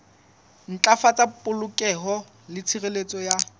ntlafatsa polokeho le tshireletso ya